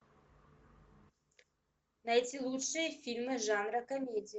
найти лучшие фильмы жанра комедия